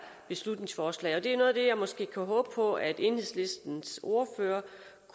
beslutningsforslag det er noget af det jeg måske kan håbe på at enhedslistens ordfører